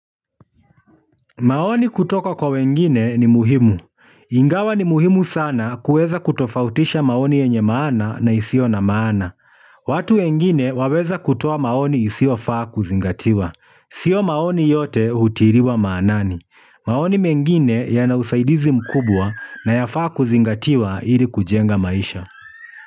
Maoni kutoka kwa wengine ni muhimu. Ingawa ni muhimu sana kuweza kutofautisha maoni yenye maana na isiyo na maana. Watu wengine waweza kutoa maoni isiyofaa kuzingatiwa. Sio maoni yote hutiliwa maanani maoni mengine yana usaidizi mkubwa na yafaa kuzingatiwa ili kujenga maisha.